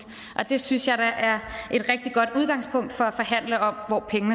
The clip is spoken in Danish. det synes jeg da er et rigtig godt udgangspunkt for at forhandle om hvor